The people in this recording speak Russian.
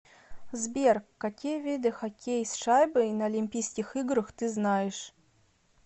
сбер какие виды хоккей с шайбой на олимпийских играх ты знаешь